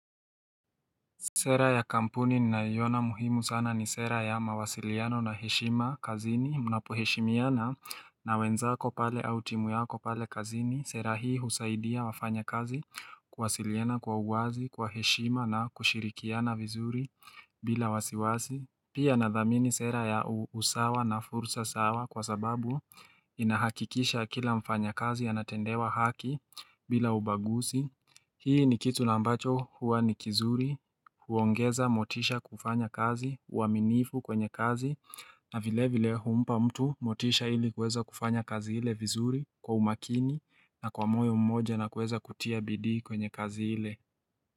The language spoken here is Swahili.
Sera ya kampuni ninayoiona muhimu sana ni sera ya mawasiliano na heshima kazini, mnapoheshimiana na wenzako pale au timu yako pale kazini. Sera hii husaidia wafanya kazi kuwasiliana kwa uwazi, kwa heshima na kushirikiana vizuri bila wasiwasi. Pia nadhamini sera ya usawa na fursa sawa kwa sababu inahakikisha kila mfanya kazi anatendewa haki bila ubaguzi. Hii ni kitu na ambacho huwa ni kizuri huongeza motisha kufanya kazi, uaminifu kwenye kazi na vile vile humpa mtu motisha ili kuweza kufanya kazi ile vizuri kwa umakini na kwa moyo mmoja na kueza kutia bidii kwenye kazi ile.